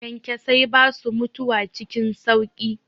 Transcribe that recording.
Kyankyasai basu mutuwa cikin sauƙi.